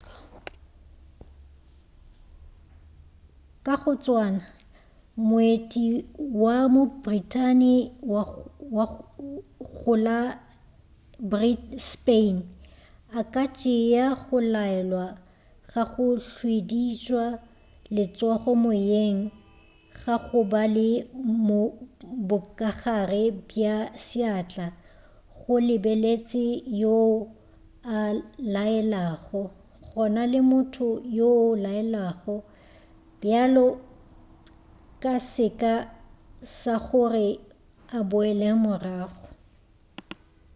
ka go tswana moeti wa mo-britain go la spain a ka tšea go laelwa ga go hwidihwitša letsogo moyeng ga go ba le bokagare bja seatla go lebeletše yoo a laelago gona le motho yo a laelwago bjalo ka seka sa gore a boele morago